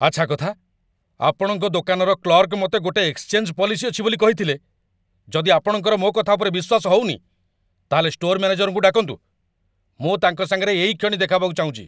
ଆଚ୍ଛା କଥା! ଆପଣଙ୍କ ଦୋକାନର କ୍ଲର୍କ ମତେ ଗୋଟେ ଏକ୍ସଚେଞ୍ଜ ପଲିସି ଅଛି ବୋଲି କହିଥିଲେ, ଯଦି ଆପଣଙ୍କର ମୋ' କଥା ଉପରେ ବିଶ୍ୱାସ ହଉନି, ତା'ହେଲେ ଷ୍ଟୋର ମ୍ୟାନେଜରଙ୍କୁ ଡାକନ୍ତୁ, ମୁଁ ତାଙ୍କ ସାଙ୍ଗରେ ଏଇକ୍ଷଣି ଦେଖାହବାକୁ ଚାହୁଁଚି ।